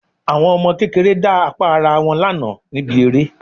Àwọn ọmọ kékeré dá apá ará wọn lánàá níbi eré